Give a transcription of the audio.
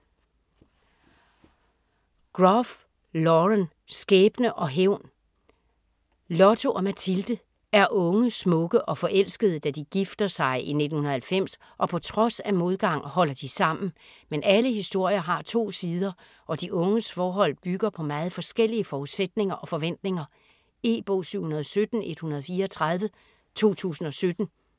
Groff, Lauren: Skæbne og hævn Lotto og Mathilde er unge, smukke og forelskede, da de gifter sig i 1990 og på trods af modgang holder de sammen. Men alle historier har to sider og de unges forhold bygger på meget forskellige forudsætninger og forventninger. E-bog 717134 2017.